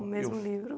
O mesmo livro?